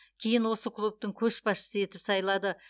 кейін осы клубтың көшбасшысы етіп сайлады